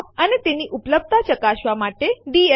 આગામી આદેશ આપણે ડબ્લ્યુસી આદેશ જોઈશું